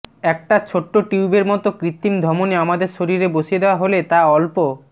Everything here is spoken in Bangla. একটা ছোট্ট টিউবের মতো কৃত্রিম ধমনী আমাদের শরীরে বসিয়ে দেওয়া হলে তা অল্প